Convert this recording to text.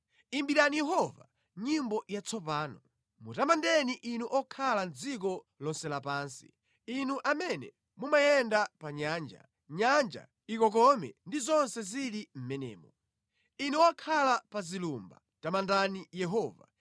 Imbirani Yehova nyimbo yatsopano, mutamandeni inu okhala mʼdziko lonse lapansi, inu amene mumayenda pa nyanja, nyanja ikokome ndi zonse zili mʼmenemo. Inu okhala pa zilumba tamandani Yehova.